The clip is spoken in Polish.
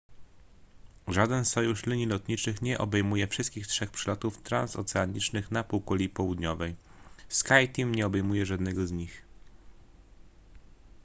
żaden sojusz linii lotniczych nie obejmuje wszystkich trzech przelotów transoceanicznych na półkuli południowej skyteam nie obejmuje żadnego z nich